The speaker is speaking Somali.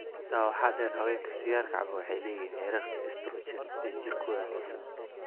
Intaa waxaa dheer, haweenka sigaarka cabba waxay leeyihiin heerarka estrogen ee jirkooda hoose.